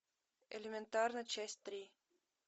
элементарно часть три